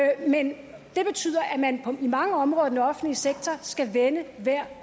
at man på mange områder i den offentlige sektor skal vende hver